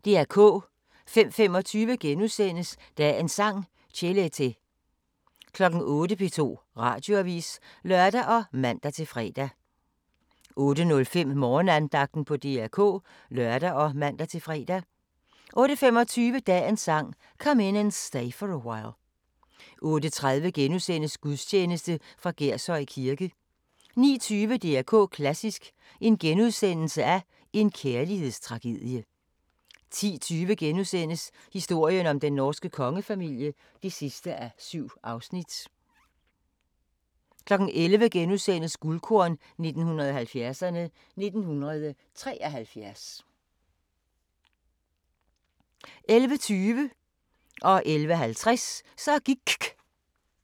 05:25: Dagens Sang: Chelete * 08:00: P2 Radioavis (lør og man-fre) 08:05: Morgenandagten på DR K (lør og man-fre) 08:25: Dagens Sang: Come In And Stay For A While 08:30: Gudstjeneste fra Gershøj Kirke * 09:20: DR K Klassisk: En kærlighedstragedie * 10:20: Historien om den norske kongefamilie (7:7)* 11:00: Guldkorn 1970'erne: 1973 * 11:20: Så gIKK 11:50: Så gIKK